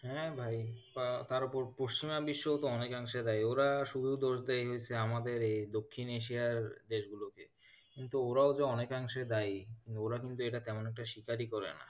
হ্যাঁ ভাই আহ তার উপর পশ্চিমা বিশ্ব অনেক অংশে দায়ী ওরা শুধু দোষ দেয় আমাদের এ দক্ষিণ এশিয়ার দেশ গুলোকে কিন্তু ওরাও যে অনেক অংশে দায়ী ওরা কিন্তু এটা তেমন একটা স্বীকারই করে না।